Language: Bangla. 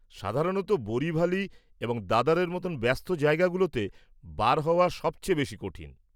সাধারণত, বোরিভালি এবং দাদর-এর মতো ব্যস্ত জায়গাগুলোতে বার হওয়া সবচেয়ে বেশি কঠিন।